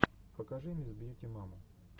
покажи мисс бьюти маму